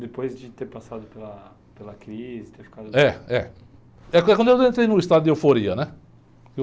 Depois de ter passado pela, pela crise, ter ficado... É, é. É que foi quando eu entrei no estado de euforia, né?